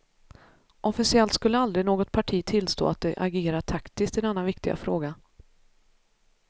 Officiellt skulle aldrig något parti tillstå att de agerar taktiskt i denna viktiga fråga.